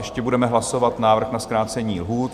Ještě budeme hlasovat návrh na zkrácení lhůt.